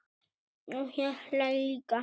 Og ég hlæ líka.